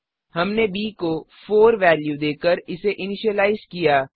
हमने ब को 4 वेल्यू देकर इसे इनिशिलाइज किया